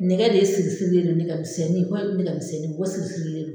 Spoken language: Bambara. Nɛgɛ de siri sirilen don nɛgɛ misɛnnin nɛgɛ misɛnnin siri sirilen don